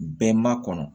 Bɛɛ ma kɔnɔ